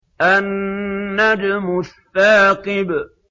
النَّجْمُ الثَّاقِبُ